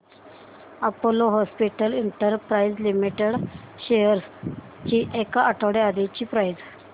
Apollo Hospitals Enterprises Limited shares ची एक आठवड्या आधीची प्राइस